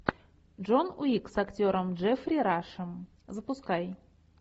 джон уик с актером джеффри рашем запускай